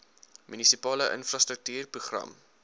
munisipale infrastruktuur program